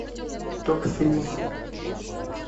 топ фильмов